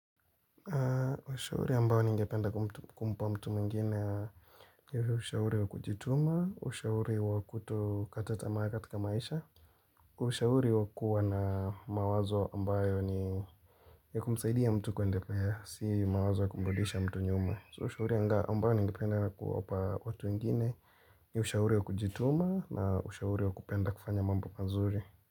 Ushauri ambayo ningependa kumpa mtu mwingine ushauri wa kujituma, ushauri wa kutokata tamaa katika maisha Ushauri wa kuwa na mawazo ambayo ni ya kumsaidi ya mtu kwenda, si mawazo ya kumrudisha mtu nyuma, ushauri ambayo ningependa kuwapa watu wengine ushauri wa kujituma na ushauri wa kupenda kufanya mambo mazuri.